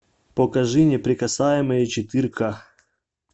покажи неприкасаемые четыре ка